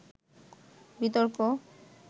বিতর্ক